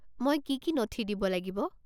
মই কি কি নথি দিব লাগিব?